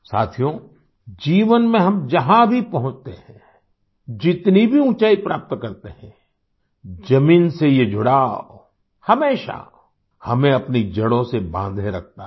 साथियो जीवन में हम जहां भी पहुँचते हैं जितनी भी ऊंचाई प्राप्त करते हैं जमीन से ये जुड़ाव हमेशा हमें अपनी जड़ों से बांधे रखता है